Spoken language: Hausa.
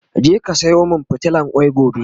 je ka Sayo min fitilan kwai gobe!